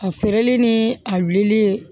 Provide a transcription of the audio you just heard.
A feereli ni a wulili